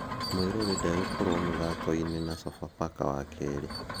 Muiruri ndagokorwo mũthako-inĩ na Sofapaka wakerĩ.